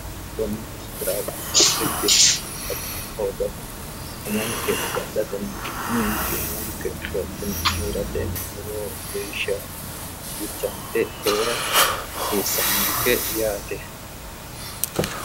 kunni taraawanno dhibbinni amadamma hoogate umonke agadhatenna uminke umonke lophine heerate lowo geeshsha bilchaante heera hasiissannonke yaate